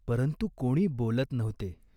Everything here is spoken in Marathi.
परंतु कोणी बोलत नव्हते.